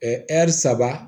saba